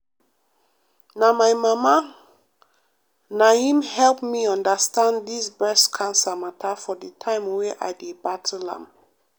na my mama na him help me understand dis breast cancer mata for de time wey i dey battle am.